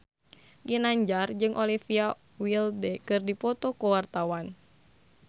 Ginanjar jeung Olivia Wilde keur dipoto ku wartawan